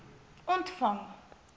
ontvang